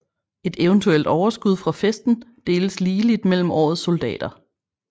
Et eventuelt overskud fra festen deles ligeligt mellem årets soldater